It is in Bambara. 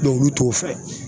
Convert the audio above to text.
olu t'o fɛ.